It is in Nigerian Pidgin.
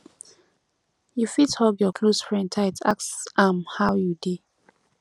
you fit hug your close friend tight ask am how you dey